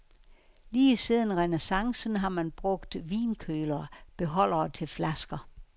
Lige siden renæssancen har man brugt vinkølere, beholdere til flasker.